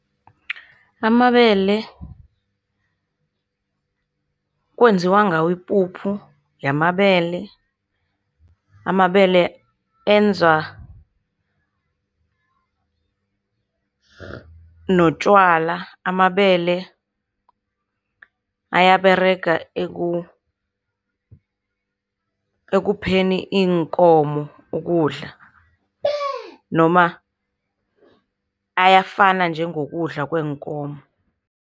Amabele kwenziwa ngawo ipuphu yamabele. Amabele enza notjwala. Amabele ayaberega ekupheni iinkomo ukudla, noma ayafana njengokudla kweenkomo.